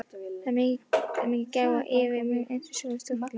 Það var mikil gæfa og yki möguleika hans sjálfs stórlega.